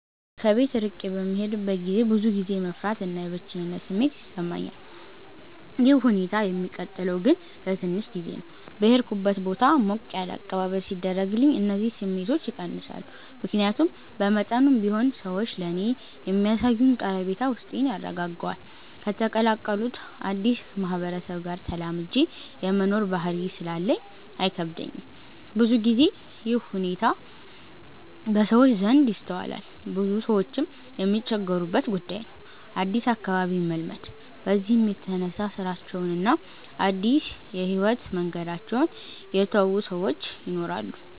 ከቤት እርቄ በምሄድበት ገዜ ብዙ ጊዜ የመፍራት እና የብቸኝነት ስሜት ይሰማኛል። ይህ ሁኔታ የሚቀጥለው ግን ለትንሽ ጊዜ ነው። በሄድኩበት ቦታ ሞቅ ያለ አቀባበል ሲደረግልኝ እነዚህ ስሜቶች ይቀንሳሉ። ምክያቱም በመጠኑም ቢሆን ሰዎች ለኔ የሚያሳዩኝ ቀረቤታ ውስጤን ያረጋጋዋል። ከተቀላቀሉት አድስ ማህበረሰብ ጋር ተላምጄ የመኖር ባህሪ ስላለኝ አይከብደኝም። ብዙ ግዜ ይህ ሁኔታ በሰዎች ዘንድ ይስተዋላል ብዙ ሰዎችም የሚቸገሩበት ጉዳይ ነው አድስ አካባቢን መልመድ። በዚህም የተነሳ ስራቸውን እና አድስ የህይወት መንገዳቸውን የተው ሰወች ይናራሉ።